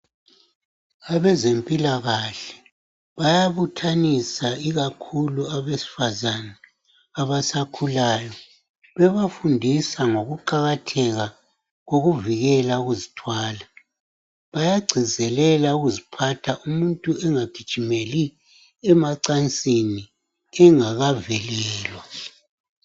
Abezempilakahle bayabuthanisa kakhulu abesifazane abasakhulayo bebafundisa ngokuqakatheka kokuvikela ukuzithwala bayagcizelela ukuziphatha umuntu engagijimeli emacansini engakavikelwa.